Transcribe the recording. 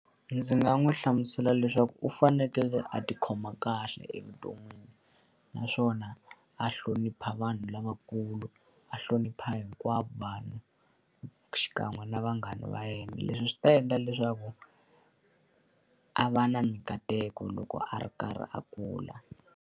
Ndzi nga n'wi hlamusela leswaku u fanekele a tikhoma kahle evuton'wini. Naswona a hlonipha vanhu lavakulu, a hlonipha hinkwavo vanhu xikan'we na vanghana va yena. Leswi swi ta endla leswaku a va na minkateko loko a ri karhi a kula.